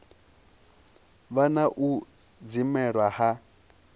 vha na u dzimelwa ha